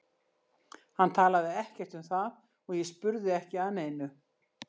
Hann talaði ekkert um það og ég spurði ekki að neinu.